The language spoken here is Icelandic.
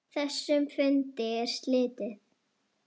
Þessum fundi er slitið.